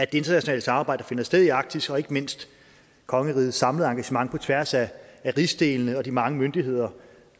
det internationale samarbejde der finder sted i arktis og ikke mindst kongerigets samlede engagement på tværs af rigsdelene med de mange myndigheder